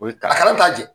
O ye a kana t'a jɛ